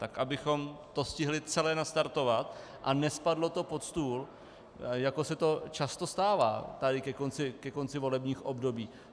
Tak abychom to stihli celé nastartovat a nespadlo to pod stůl, jako se to často stává tady ke konci volebních období.